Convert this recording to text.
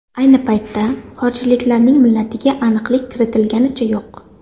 Ayni paytda xorijliklarning millatiga aniqlik kiritilganicha yo‘q.